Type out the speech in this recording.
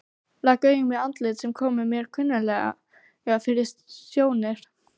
Rak augun í andlit sem kom mér kunnuglega fyrir sjónir.